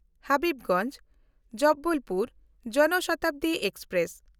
ᱦᱟᱵᱤᱵᱽᱜᱚᱧᱡᱽ–ᱡᱚᱵᱚᱞᱯᱩᱨ ᱡᱚᱱ ᱥᱚᱛᱟᱵᱫᱤ ᱮᱠᱥᱯᱨᱮᱥ